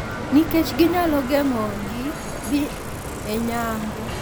Nikech ginyalo geng`o gi dhi e nyango.